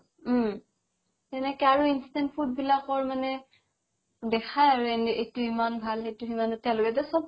উম সেনেকে আৰু instant food বিলাকৰ মানে দেখাই আৰু এইটো ইমান ভাল সেইটো ইমান